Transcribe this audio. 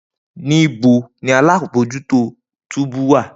Nibo ni alabojuto túbú wa?